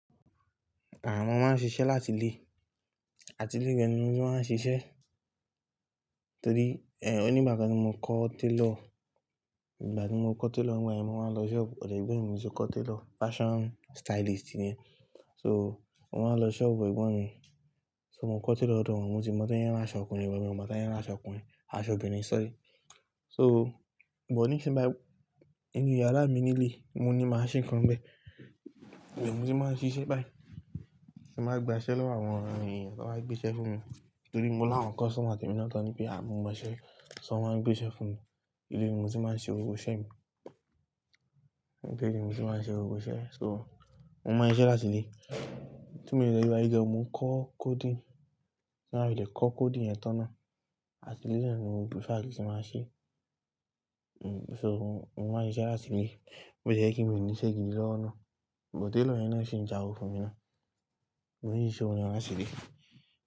Mo máa ń ṣiṣẹ́ láti ilé àti ilé gan ni mo ti máa ń ṣiṣẹ́. Torí, ẹ́, òní ìgbà kan ni mo kọ́ tailor. Ìgbà tí mo kọ́ tailor nígbà yen, mo máa ń lọ shop ọ̀ dọ̀ egbọ́n mi mo ti ko tailor, fashion stylist ni ẹ́. So, mo máa ń lọ shop fún ẹ̀gbọ́n mi. So mo kọ́ tailor lọ̀dọ̀ won, mo ti mọ̀ to se ran aṣọ ọkùnrin, but mi o mọ̀ to se n ran aṣọ ọkùnrin, aṣọ obìnrin, sorry. So, but níìsín bayii, iinu yàrá mi nílé, mo ní màachine kan bẹ́ e. Ibe ni moi tí màá ń ṣiṣẹ́ báyìí. Tin ba ń gba iṣẹ́ lọ́wọ́ àwọn èèyàn, toba gbé iṣẹ́ fún mi. Torí mo láwọn customer tẹ̀mi náà tán ní pé, à, mo mo iṣẹ́. Ṣo wọ́n máa ń gbé iṣẹ́ fún mi. Ilé ni motí màá ń ṣe gbogbo iṣẹ́ mi. Ile tí mo ti máa ń ṣe gbogbo iṣẹ́ mi. So, mo máa ń ṣiṣẹ́ láti ilé. Tí mo de se wa yìí gan, mo n ko coding. Tí n ba fi le kọ coding yẹn tán náà àti ilé le ni mo prefer kin tí màá ṣe. Hmm, so mo máa ń ṣiṣẹ́ láti ilé. Bó ti e jẹ́ kí nìṣe gidi lọ́wọ́ ná. Bọ̀ tailor yẹn náà ṣi ń ja owó fún mi náà. Mo ní ìṣe òun ni màá ṣe dé.